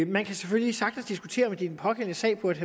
man kan selvfølgelig sagtens diskutere om det i den pågældende sag burde